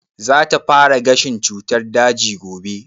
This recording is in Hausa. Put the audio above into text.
Za ta fara gashin cutar daji gobe?